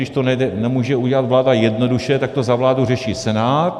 Když to nemůže udělat vláda jednoduše, tak to za vládu řeší Senát.